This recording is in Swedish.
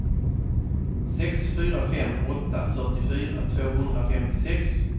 sex fyra fem åtta fyrtiofyra tvåhundrafemtiosex